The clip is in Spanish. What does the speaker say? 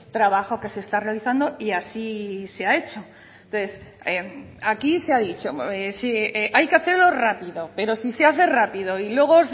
trabajo que se está realizando y así se ha hecho entonces aquí se ha dicho hay que hacerlo rápido pero si se hace rápido y luego